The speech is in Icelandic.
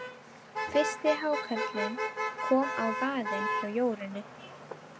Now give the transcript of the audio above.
Fyrsti hákarlinn kom á vaðinn hjá Jórunni.